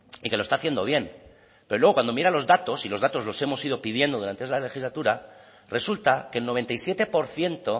y que lo está haciendo bien pero luego cuando mira los datos y los datos los hemos ido pidiendo durante esta legislatura resulta que el noventa y siete por ciento